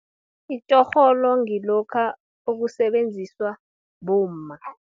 Itjorholo ngilokha, okusebenziswa bomma.